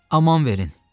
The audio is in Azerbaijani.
Aman verin.